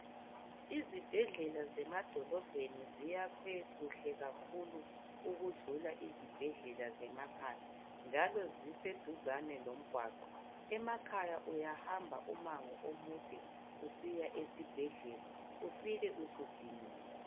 Izibhedlela zemadolobheni ziyakhwe kuhle kakhulu ukudlula izibhedlela zemakhaya, njalo ziseduzane lomgwaqo. Emakhaya uyahamba umango omude usiya esibhedlela ufike usudiniwe.